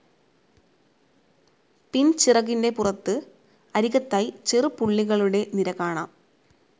പിൻചിറകിന്റെ പുറത്ത് അരികത്തായി ചെറു പുള്ളികളുടെ നിര കാണാം.